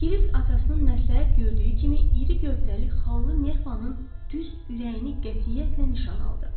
Kirisk atasının məsləhət gördüyü kimi iri gövdəli xallı nerpanın düz ürəyini qətiyyətlə nişan aldı.